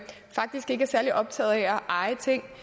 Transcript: reel ejer